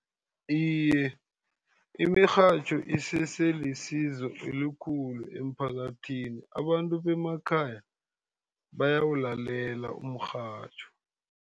Iye, imirhatjho isese lisizo elikhulu emphakathini. Abantu bemakhaya bayawulalela umrhatjho.